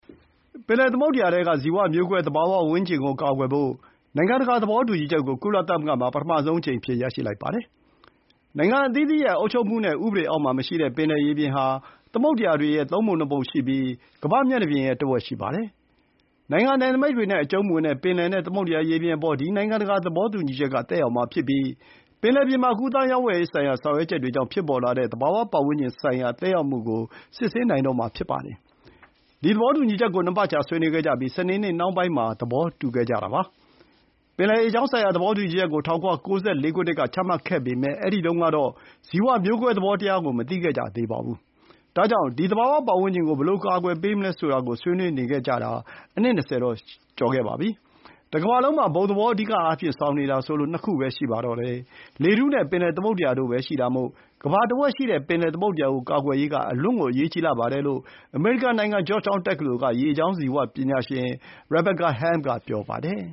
ပင်လယ်သမုဒ္ဒရာထဲက ဇီဝမျိုးကွဲသတ္တဝါနဲ့ အပင်တွေကိုကာကွယ်ဖို့ နိုင်ငံတကာ သဘောတူညီချက်ကို ကုလသမဂ္ဂမှာ ပထမဆုံးအကြိမ်အဖြစ် ရရှိလိုက်ပါတယ်။ နိုင်ငံအသီးသီးရဲ့အုပ်ချုပ်မှုနဲ့ ဥပဒေအောက်မှာမရှိတဲ့ ပင်လယ်ရေပြင်ဟာ သမုဒ္ဒရာတွေရဲ့သုံးပုံ ၂ ပုံရှိပြီး ကမ္ဘာ့မျက်နှာပြင်ရဲ့တဝက်ရှိပါတယ်။ နိုင်ငံနယ်နိမိတ်တွေနဲ့အကျုံးမဝင်တဲ့ ပင်လယ်နဲ့သမုဒ္ဒရာရေပြင်အပေါ် ဒီ နိုင်ငံတကာသဘောတူညီချက်ကသက်ရောက်မှာဖြစ်ပြီး ပင်လယ်ပြင်မှာ ကူးသန်းရောင်းဝယ်ရေးဆိုင်ရာ ဆောင်ရွက်ချက်တွေကြောင့် ဖြစ်ပေါ်လာတဲ့သဘာဝ ပတ်ဝန်းကျင်ဆိုင်ရာ သက်ရောက်မှုကို စစ်ဆေးနိုင်မှာဖြစ်ပါတယ်။ ဒီ သဘောတူညီချက်ကို ၂ ပတ်ကြာဆွေးနွေးခဲ့ကြပြီး စနေနေ့နှောင်းပိုင်းမှာ သဘောတူခဲ့ကြတာဖြစ်ပါတယ်။ ပင်လယ်ရေကြောင်းဆိုင်ရာ သဘောတူညီချက်ကို ၁၉၉၄ ခုနှစ်မှာချမှတ်ခဲ့ပေမဲ့ အဲဒီတုန်းက ဇီဝမျိုးကွဲ သဘောကို မသိခဲ့ကြသေးပါဘူး။ ဒါကြောင့် ဒီ သဘာဝပတ်ဝန်းကျင်ကို ဘယ်လို အကာအကွယ်ပေးမလဲဆိုတာကို ဆွေးနွေးနေခဲ့ကြတာ အနှစ် ၂၀ ကျော်ခဲ့ပါပြီ။ တကမ္ဘာလုံးမှာ အဓိအားဖြင့် ဘုံသဘောဆောင်နေတာဆိုလို့ ၂ ခုပဲ ရှိပါတယ်။ လေထုနဲ့ပင်လယ်သမုဒ္ဒရာတို့ပဲရှိတာမို့ ကမ္ဘာတဝက်ရှိတဲ့ ပင်လယ်သမုဒ္ဒရာကိုကာကွယ်ရေးက အလွန်အရေးကြီးပါတယ်လို့ အမေရိကန်နိုင်ငံ ဂျော့ချ်တောင်းတက္ကသိုလ်က ရေကြောင်း ဇီဝပညာရှင် Rebecca Helm က ပြောပါတယ်